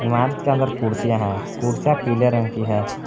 इमारत के अंदर कुर्सियां हैं कुर्सियां पीले रंग की हैं।